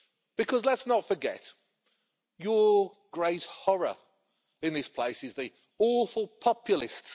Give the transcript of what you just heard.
Because let's not forget, your great horror in this place is the awful populists